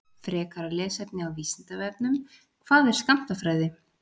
Frekara lesefni á Vísindavefnum: Hvað er skammtafræði?